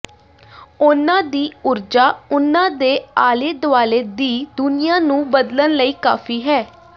ਉਨ੍ਹਾਂ ਦੀ ਊਰਜਾ ਉਨ੍ਹਾਂ ਦੇ ਆਲੇ ਦੁਆਲੇ ਦੀ ਦੁਨੀਆਂ ਨੂੰ ਬਦਲਣ ਲਈ ਕਾਫੀ ਹੈ